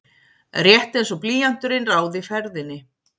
Rétt einsog blýanturinn ráði ferðinni.